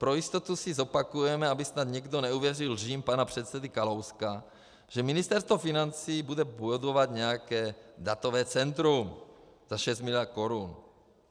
Pro jistotu si zopakujeme, aby snad někdo neuvěřil lžím pana předsedy Kalouska, že Ministerstvo financí bude budovat nějaké datové centrum za 6 miliard korun.